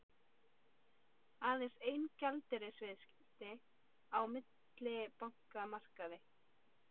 Aðeins ein gjaldeyrisviðskipti á millibankamarkaði